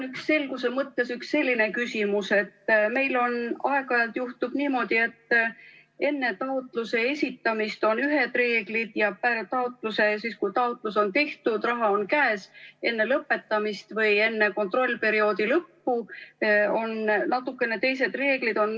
Mul on selguse mõttes üks selline küsimus, et meil aeg-ajalt juhtub nii, et enne taotluse esitamist on ühed reeglid ja siis, kui taotlus on tehtud, raha on käes, enne lõpetamist või enne kontrollperioodi lõppu on natukene teised reeglid.